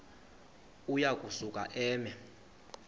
uya kusuka eme